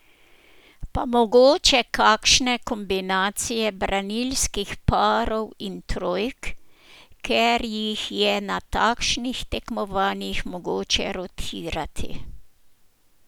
Pa mogoče kakšne kombinacije branilskih parov in trojk, ker jih je na takšnih tekmovanjih mogoče rotirati.